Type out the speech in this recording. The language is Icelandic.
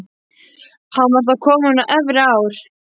Hann var þá kominn á efri ár.